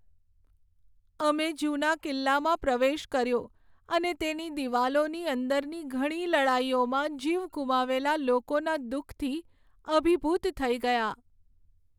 અમે જૂના કિલ્લામાં પ્રવેશ કર્યો અને તેની દિવાલોની અંદરની ઘણી લડાઈઓમાં જીવ ગુમાવેલા લોકોના દુઃખથી અભિભૂત થઈ ગયાં.